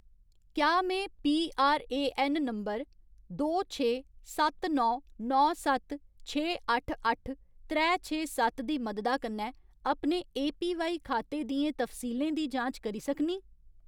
क्या में P R A N number दो छे सत्त नौ नौ सत्त छे अट्ठ अट्ठ त्रै छे सत्त दी मददा कन्नै अपने एपीवाई खाते दियें तफसीलें दी जांच करी सकनीं ?